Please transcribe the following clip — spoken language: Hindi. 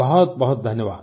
बहुत बहुत धन्यवाद